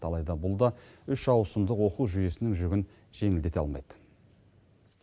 алайда бұл да үш ауысымдық оқу жүйесінің жүгін жеңілдете алмайды